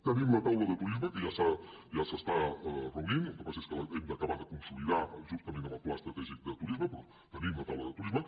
tenim la taula de turisme que ja s’està reunint el que passa és que l’hem d’acabar de consolidar justament amb el pla estratègic de turisme però tenim la taula de turisme